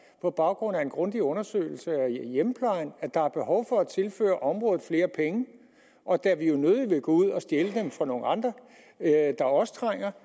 på baggrund af en grundig undersøgelse af hjemmeplejen at der er behov for at tilføre området flere penge og da vi jo nødig vil gå ud og stjæle dem fra nogle andre der også trænger